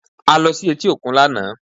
A lọ sí etí òkun lánàá